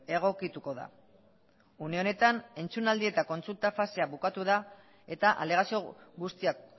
egokituko da une honetan entzunaldi eta kontsulta fasea bukatu da eta alegazio guztiak